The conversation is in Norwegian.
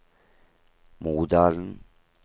Modalen